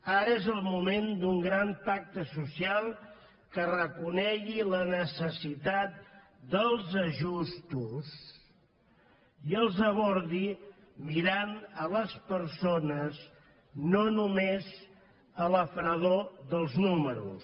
ara és el moment d’un gran pacte social que reconegui la necessitat dels ajustos i els abordi mirant les persones no només la fredor dels números